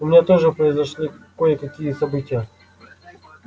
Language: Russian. у меня тоже произошли кое-какие события